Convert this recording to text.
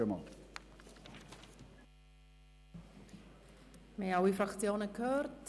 Wir haben alle Fraktionen gehört.